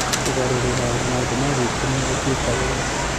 Kũgarũrĩra maũndũ ma gwĩkenia gũtuĩka wĩra